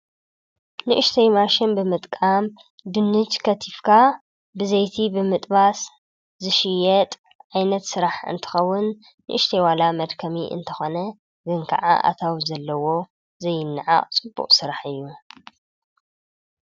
ንእሽተይ ማሽን ብምጥቃም ድኑሽ ከቲፍካ ብዘይቲ ብምጥባስ ዝሽየጥ ዓይነት ስራሕ እንትኸውን ንእሽተይ ዋላ መድከሚ እንተኮነ ግን ከዓ አታዊ ዘለዎ ዘይነዓቅ ፅቡቅ ስራሕ እዩ።